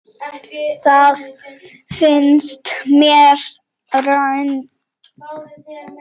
Það finnst mér rangt.